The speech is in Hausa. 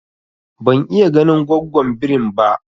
Ban iya ganin gwaggon birin ba